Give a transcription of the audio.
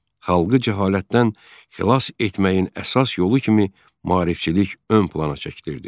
Xalqı cəhalətdən xilas etməyin əsas yolu kimi maarifçilik ön plana çəkdirirdi.